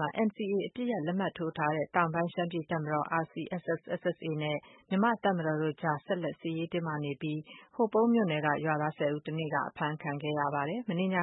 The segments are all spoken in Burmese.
မှာ NCAအပစ်ရပ်လက်မှတ်ရေးထိုးထားတဲ့ တောင်ပိုင်းရှမ်းပြည်တပ်မတော် RCSS/SSAနဲ့ မြန်မာ့တပ်မတော်တို့အကြား စစ်ရေးတင်းမာမှုတွေ ဆက်ရှိနေပြီး ဟိုပုံး မြို့နယ်က ရွာသားဆယ်ဦး တနေ့က အဖမ်းခံခဲ့ရပါတယ်။ မနေ့ည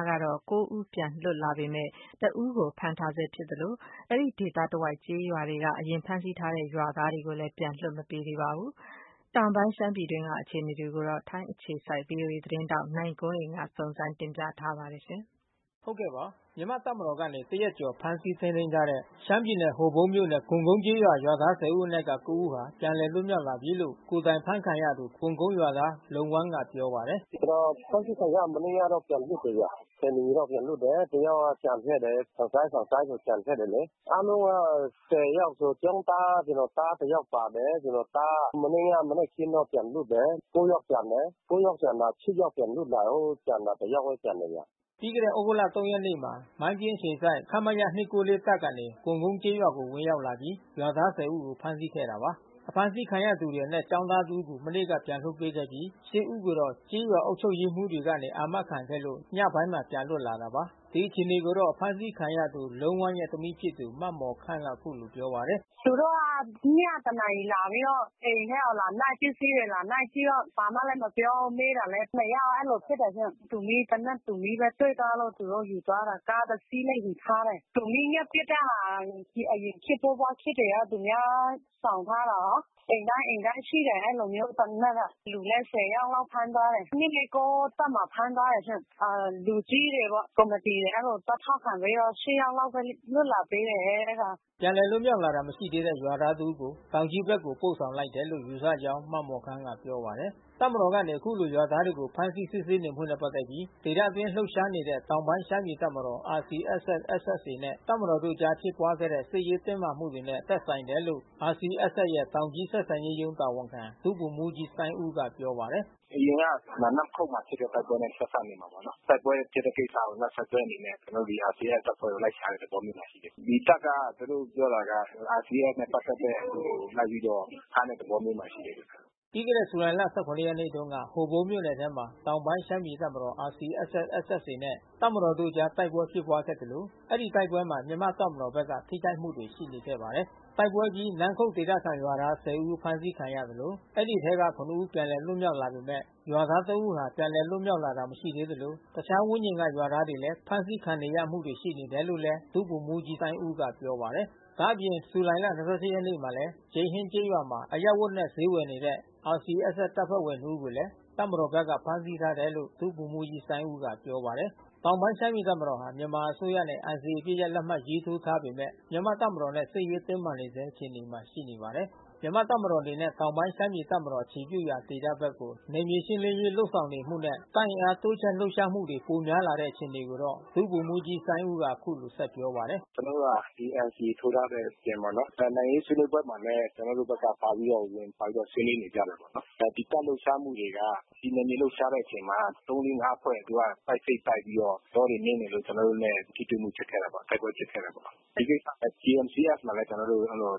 က ဦး ပြန် လွတ်လာပေမယ့် တဦးကို ဖမ်းထားဆဲ ဖြစ်သလို အဲဒီဒေသတဝိုက် ကျေးရွာတွေကနေ အရင် ဖမ်းဆီးထားတဲ့ ရွာသားတွေကိုလည်း ခုထိ ပြန်လွှတ်မပေးသေးပါဘူး။ တောင်ပိုင်း ရှမ်းပြည် နယ်ဒေသတွင်းမတည်ငြိမ်သေးတဲ့ အခြေအနေတွေကို ထိုင်းအခြေစိုက် သတင်းထောက်နိုင်ကွန်းအိန်ကနေ သတင်းပေး ပို့ထားပါတယ်။ မြန်မာ့တပ်မတော်ကနေ တရက်ကျော်ဖမ်းဆီးထိန်းသိမ်းထားတဲ့ရှမ်းပြည်နယ် ဟိုပုန်းမြို့ ကွန်ကုန်းကျေးရွာ ရွာသား ၁၀ ဦးအနက်က ဦးဟာပြန်လည်လွတ်မြောက်လာပြီးလို့ ကိုယ်တိုင်ဖမ်းဆီးခံရသူ ကွန်ကုန်းရွာသား လုံးဝမ်းက ပြောပါတယ်။ "ကျွန်တော်ဖမ်းဆီးခံရတာမနေ့ကပြန်လွတ်တယ်ဗျ။ နာရီလောက်ပြန်လွတ်တယ်။ တယောက်ကကျန်ခဲ့တယ်။ စိုင်း စံစိုင်းဆိုသူကျန်ခဲ့တယ်လေ။ အားလုံးက ယောက် ကျောင်းသားဆိုကျွန်တော်သားတယောက်ပါတယ်။ ကျွန်တော် သား မနေ့ကမနက်ခင်းပြန်လွတ်တယ်။ ယောက်ကျန်တယ်။ ယောက်ကျန်တာ ယောက်ပြန်လွတ်လာတာ ကျန်တာတယောက်ဘဲကျန်တယ်။" ပြီးခဲ့တဲ့သြဂုတ် ရက်မှာ မိုင်းပြင်းအခြေစိုက် ခမရ ၂၄၉ တပ်ကနေ ကွန်ကုန်းကျေးရွာကို ဝင်ရောက်လာပြီး ရွာသား ဦးကိုဖမ်းဆီးခဲ့တာပါ။ ဖမ်းဆီးခံရသူအနက်ကျောင်းသား တဦးကို မနေ့ကပြန်လည်လွှတ်ပေးခဲ့ပြီး ဦးကတော့ ကျေးရွာအုပ်ချုပ်ရေးမှူးတွေကနေ အာမခံခဲ့လို့ ညပိုင်းမှာပြန်လွတ်လာတာပါ။ ဒီအခြေအနေကို ဖမ်းဆီးခံရသူလုံးဝမ်း ရဲ့ သမီးဖြစ်သူ မမော်ခမ်းကအခုလိုပြောပါတယ်။ "သူတို့က ညတနာရီကျော်လာပြီးတော့ အိမ်ထဲကိုလာနှိုက် ပစ္စည်းကိုလာနှိုက်ပြီးတော့ ဘာမှလဲမပြောဘူး။ မေးတာလဲ မရဘူး။ အဲဒီလိုဖြစ်တယ်ရှင့်။ တူမီး သေနတ်တူမီးတွေ့သွားလို့သူတို့ယူသွားတယ်။ ကားတစီးလဲယူထားတယ်။ တူမီး မျောက်ပစ်တဲ့ဟာ အရင်ခေတ်တုံးကခေတ်တွေက သူများဆောင်ထားတဲ့ထားတာ အိမ်တိုင်းအိမ်တိုင်းရှိတယ်။ အဲဒီလို မျိုး သေနတ်က။ လူလဲ ယောက်လောက်ဖမ်းသွားတယ်။ တပ်မှာဖမ်းသွားတယ်ရှင့်။ လူကြီးတွေက ကော်မီတီ တွေကသွားထောက်ခံပေးတော့ ယောက်လောက်လွှတ်လာပေးတယ်အဲတာ။" ပြန်လည်လွတ်မြောက်လာတာမရှိသေးတဲ့ရွာသားတဦးကို တောင်ကြီးဘက်ကို ပို့ဆောင်လိုက်တယ်လို့ယူဆကြောင်း မမော်ခမ်းကပြောပါတယ်။ တပ်မတော်ကနေ အခုလိုရွာသားတွေကိုဖမ်းဆီးစစ်ဆေးနေမှုနဲ့ပက်သက်ပြီး ဒေသအတွင်း လှုပ်ရှားနေတဲ့ တောင်ပိုင်း ရှမ်းပြည်တပ်မတော် RCSS/SSAနဲ့တပ်မတော်အကြားဖြစ်ပွါးခဲ့တဲ့ စစ်ရေးတင်းမာမှုတွေနဲ့သက်ဆိုင်တယ်လို့ RCSS ရဲ့ တောင်ကြီးဆက်ဆံရေးရုံးတာဝန်ခံ ဒုဗိုလ်မှူးကြီးစိုင်းဦးကပြောပါတယ်။ "အရင်က နမ်းခုတ်မှာဖြစ်တဲ့တိုက်ပွဲနဲ့ဆက်စပ်နေမှာပေါ့နော်။ တိုက်ပွဲဖြစ်တဲ့ကိစ္စ ကိုနောက်ဆက်တွဲအနေနဲ့ ကျွန်တော် တို့ RCSSကိုလိုက်ရှာတဲ့သဘောမျိုးမှာရှိတယ်။ ဒီတပ်က သူတို့ပြောတာက RCSSနဲ့ပတ်သက်တဲ့သူတွေကိုဖမ်းတဲ့သ ဘောမျိုးမှာရှိတယ်။" ပြီးခဲ့တဲ့ ဇူလိုင်လ ရက်နေ့တွေမှာဟိုပုန်းမြို့နယ်ထဲမှာ တောင်ပိုင်း ရှမ်းပြည်တပ်မတော် RCSS/SSAနဲ့ တပ်မ တော်အကြားတိုက်ပွဲဖြစ်ပွါးခဲ့သလို ဒီတိုက်ပွဲမှာ မြန်မာ့တပ်မတော်ဘက်က ထိခိုက်မှုတွေရှိခဲ့ပါတယ်။ တိုက်ပွဲဖြစ်ပွါးအပြီး နန်းခုတ်ဒေသခံရွာသား ဦးအဖမ်းဆီးခံရသလို အဲဒီ အထဲ ဦးပြန်လည်လွတ်မြောက် လာ ပေမဲ့ ရွာသား၃ဦးဟာ ပြန်လည်လွတ်မြောက် လာတာမရှိသေးသလို တခြားဝန်းကျင်ရွာက ရွာသားတွေဖမ်းဆီးခံနေရ မှုတွေလဲရှိနေတယ်လို့ ဒုဗိုလ်မှူးကြီးစိုင်းဦးကပြောပါတယ်။ ဒါ့အပြင် ဇူလိုင် ရက်နေ့မှာလဲ ကျိန်းဟင်ကျေးရွာမှာ အရပ်ဝတ်နဲ့ ဈေးဝယ် RCSSတပ်ဖွဲ့ဝင်နှစ်ဦးကိုလဲ တပ်မ တော်ဘက်က ဖမ်းဆီးထားတယ်လို့ ဒုဗိုလ်မှူးကြီးစိုင်းဦးကပြောပါတယ်။ တောင်ပိုင်း ရှမ်းပြည်တပ်မတော်ဟာ မြန်မာအစိုးရနဲ့ NCAအပစ်ရပ် လက်မှတ်ရေးထိုးထားပေမဲ့ မြန်မာ့တပ်မတော်နဲ့ စစ်ရေးတင်းမာနေဆဲ အခြေအနေမှာရှိနေပါတယ်။ မြန်မာ့တပ်မတော်အနေနဲ့ တောင်ပိုင်းရှမ်းပြည်တပ်မတော်အခြေပြုရာဒေသဘက်ကို နယ်မြေရှင်းလင်းရေးလုပ် ဆောင်မှုနဲ့ တပ်အင်အားတိုးချဲ့ လှုပ်ရှားမှုတွေ ပိုများလာတဲ့အခြေအနေကိုတော့ ဒုဗိုလ်မှူးကြီးစိုင်းဦးက အခု လို ဆက်ပြောပါတယ်။ "ကျွန်တော်တို့က ဒီNCAထိုးထားတဲ့အပြင်ပေါ့နော်။ နိုင်ငံရေးဆွေးနွေးပွဲမှာလဲ ကျွန်တော်တို့ဘက်ကပါပြီးတော့ ဆွေးနွေး နေကြတာပေါ့နော်။ ဒီတပ်လှုပ်ရှားမှုတွေက ဒီနယ်မြေလှုပ်ရှားတဲ့အချိန်မှာ သုံး လေး ငါးဖွဲ့သူကပိုက်စိပ်တိုက်ပြီးတော့ တောတွေနင်းနေလို့ကျွန်တော်တို့နဲ့ ထိတွေ့မှုဖြစ်ခဲ့တာပေါ့။ တိုက်ပွဲဖြစ်ခဲ့တာပေါ့။ ဒီကိစ္စကိုလဲကျွန်တော်တို့JMC-Sကို လဲ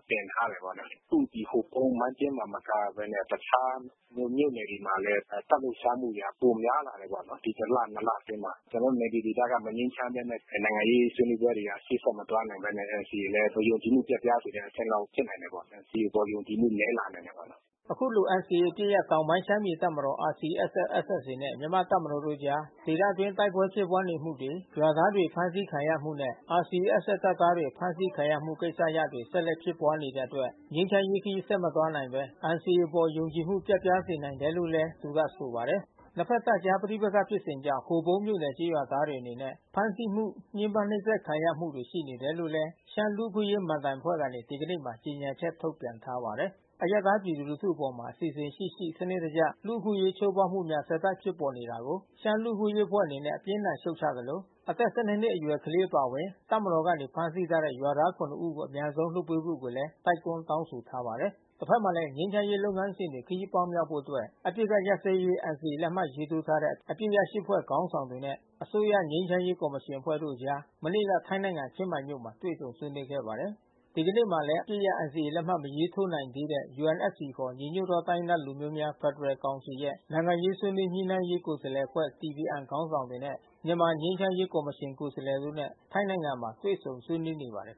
တင်ထားတယ်ပေါ့နော်။ အခုဟိုပုန်း မိုင်းပျဉ်းမှမကဘဲနဲ့ တခြားမြို့နယ်တွေမှာလဲတပ်လှုပ်ရှားမှုက ပိုများလာတယ် ပေါ့နော်။ ဒီတလနှစ်အတွင်းမှာ။ ကျွန်တော်တို့နယ်မြေဒေသမငြိမ်းချမ်းဘဲနဲ့ နိုင်ငံရေးဆွေးနွေးပွဲတွေ က ရှေ့ဆက်မသွား နိုင်ဘဲနဲ့ NCAလဲယုံကြည်မှု ပျက်ပြားစေတဲ့ အဆင့်လောက်ဖြစ်နိုင်တယ်ပေါ့။ NCAအပေါ်ယုံကြည်မှုနဲလာနိုင်ပါတယ်။" အခုလို NCAအပစ်ရပ်တောင်ပိုင်းရှမ်းပြည်တပ်မတော် RCSS/SSAနဲ့ မြန်မာ့တပ်မတော်တို့အကြား ဒေသ အတွင်း တိုက်ပွဲဖြစ်ပွါးမှုတွေ ရွာသားတွေကို ဖမ်းဆီးခံရမှုနဲ့ RCSS တပ်သားတွေ အဖမ်းဆီးခံရမှုကိစ္စရပ်တွေ ဆက်တိုက်ဖြစ်ပွါး နေတဲ့အတွက် ငြိမ်းချမ်းရေးခရီးဆက်မသွားနိုင်ဘဲ NCAအပေါ် ယုံကြည်မှုပျက်ပြားစေနိုင်တယ်လို့လဲ သူကဆို ပါ တယ်။ နှစ်ဖက်တပ်အကြားပဋိပက္ခဖြစ်စဉ်ကြောင့် ဟိုပုန်းမြို့နယ်ကျေးရွာသားတွေ အနေနဲ့ဖမ်းဆီးမှု ညှင်းပမ်းနှိပ်စက်ခံ ရမှုတွေ ရှိနေတယ်လို့လဲ ရှမ်းလူ့အခွင့်အရေး မဏ္ဍိုင်အဖွဲ့ကနေ ဒီကနေ့မှာ ကြေညာချက်ထုတ်ပြန်ထားပါတယ်။ အရပ်သားပြည်သူလူထု အပေါ် အစီအစဉ်ရှိရှိ စံနစ်တကျ လူ့အခွင့်အရေး ချိုးဖောက်မှုှုများ ဆက်တိုက် ဖြစ်ပေါ်နေ တာကို ရှမ်းလူ့အခွင့်အရေးအဖွဲ့ အနေနဲ့အပြင်းအထန် ရှုတ်ချသလို အသက် ၁၂ အရွယ်ကလေး အပါအဝင် တပ်မ တော်ကနေ ဖမ်းဆီးထားတဲ့ ရွာသား ၇ ဦးကို အမြန်ဆုံး လွှတ်ပေးဖို့ကိုလဲ တိုက်တွန်းတောင်းဆိုထားပါတယ်။ တဖက်မှာလဲငြိမ်းချမ်းရေးလုပ်ငန်းစဉ်တွေခရီးပေါက်မြောက်ဖို့အတွက် အပစ်ခတ်ရပ်စဲရေးNCAလက်မှတ်ရေးထိုး ထားတဲ့ အပစ်ရပ် ဖွဲ့ခေါင်းဆောင်တွေနဲ့ အစိုးရငြိမ်းချမ်းရေးကော်မရှင်အဖွဲ့တို့အကြား မနေ့ကထိုင်းနိုင်ငံ ချင်းမိုင်မြို့မှာ တွေ့ဆုံ ဆွေးနွေးခဲ့ကြပါတယ်။ ဒီကနေ့မှာလဲ အပစ်ရပ်NCAလက်မှတ်မရေးထိုးနိုင်သေးတဲ့ UNFCခေါ်ညီညွတ်သော တိုင်းရင်းသားလူမျိုးများ ဖက်ဒ ရယ်ကောင်စီရဲ့ နိုင်ငံရေးဆွေးနွေးညှိနှိုင်းရေး ကိုယ်စားလှယ်အဖွဲ့ DPN ခေါင်းဆောင်တွေနဲ့ မြန်မာငြိမ်းချမ်းရေး ကော်မရှင် ကိုယ်စားလှယ်တွေနဲ့ ထိုင်းနိုင်ငံမှာတွေ့ဆုံဆွေးနွေးနေပါတယ်